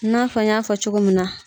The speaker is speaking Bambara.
i n'a fɔ n y'a fɔ cogo min na.